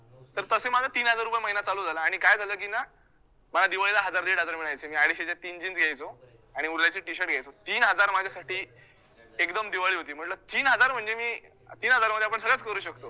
तर तसा माझा तीन हजार रुपये महिना चालू झाला आणि काय झालं की ना मला दिवाळीला हजार दीड हजार मिळायचे, मी अडीजशेच्या तीन jeans घ्यायचो आणि उरल्याचे t shirt घ्यायचो तीन हजार माझ्यासाठी एकदम दिवाळी होती, म्हंटलं तीन हजार म्हणजे मी तीन हजारामध्ये आपण सगळचं करू शकतो